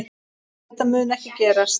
Þetta mun ekki gerast.